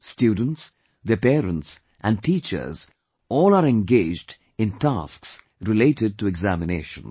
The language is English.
Students, their parents and teachers, all are engaged in tasks related to examinations